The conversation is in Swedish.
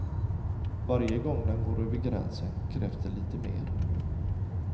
Varje gång den går över gränsen krävs det lite mer.